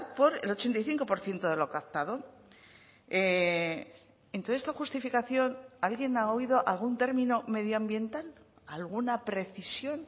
por el ochenta y cinco por ciento de lo captado en toda esta justificación alguien ha oído algún término medioambiental alguna precisión